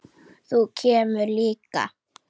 Þú kemur líka!